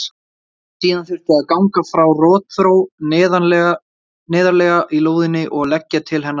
Síðan þurfti að ganga frá rotþró neðarlega í lóðinni og leggja til hennar leiðslu.